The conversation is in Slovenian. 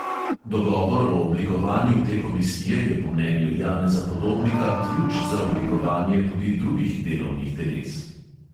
Dogovor o oblikovanju te komisije je po mnenju janeza podobnika ključ za oblikovanje tudi drugih delovnih teles.